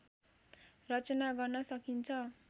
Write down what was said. रचना गर्न सकिन्छ